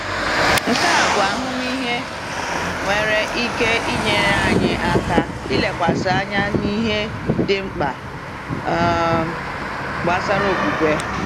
Nke a bụ ahụmịhe nwere ike nyere anyị aka ilekwasị anya n’ihe dị mkpa um gbasara okwukwe.